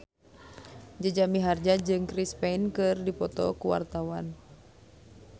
Jaja Mihardja jeung Chris Pane keur dipoto ku wartawan